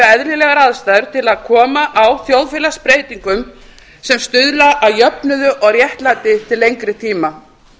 eðlilegar aðstæður til að koma á þjóðfélagsbreytingum sem stuðla að jöfnuði og réttlæti til lengri tíma